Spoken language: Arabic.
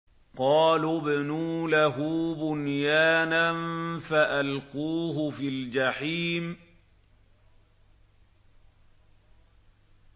قَالُوا ابْنُوا لَهُ بُنْيَانًا فَأَلْقُوهُ فِي الْجَحِيمِ